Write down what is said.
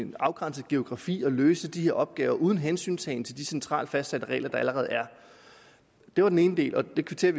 et afgrænset geografisk område at løse de her opgaver uden hensyntagen til de centralt fastsatte regler der allerede er det var den ene del og vi kvitterer